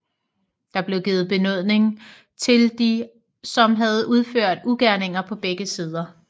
Der blev givet benådning til de som havde udført ugerninger på begge sider